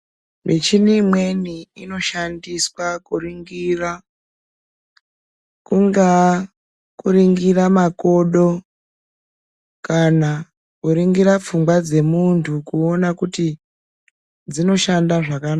Michini imweni inoshandiswa kuringira, kungaa kuringira makodo kana kuringira pfungwa dzemuntu kuona kuti dzinoshanda zvaka...